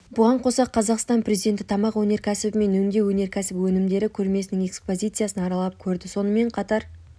бұған қоса қазақстан президенті тамақ өнеркәсібі мен өңдеу өнеркәсібі өнімдері көрмесінің экспозициясын аралап көрді сонымен қатар